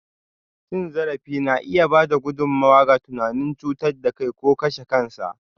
Cin zarafi na iya ba da gudummawa ga tunanin cutar da kai ko kashe kansa.